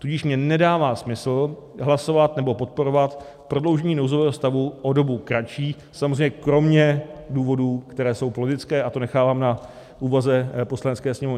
Tudíž mně nedává smysl hlasovat nebo podporovat prodloužení nouzového stavu o dobu kratší, samozřejmě kromě důvodů, které jsou politické, a to nechávám na úvaze Poslanecké sněmovny.